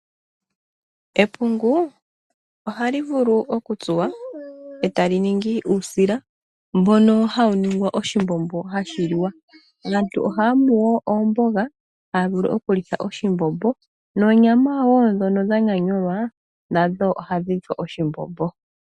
Epungu ohali vulu oku tsuwa e ta li ningi uusila mbono hawu ningwa oshimbombo, hashi liwa. Aantu ohaya mu wo oomboga, haya vulu okulitha oshimbombo noonyama wo ndhono dha nyanyulwa nadho ohadhi lithwa oshimbombo.